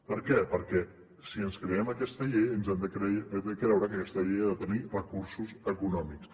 per què perquè si ens creiem aquesta llei ens hem de creure que aquesta llei ha de tenir recursos econòmics